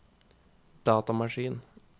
datamaskin